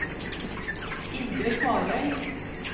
Indre Kvarøy